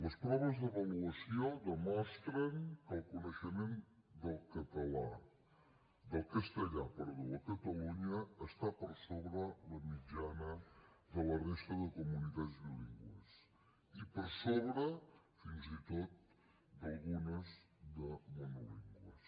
les proves d’avaluació demostren que el coneixement del castellà a catalunya està per sobre la mitjana de la resta de comunitats bilingües i per sobre fins i tot d’algunes de monolingües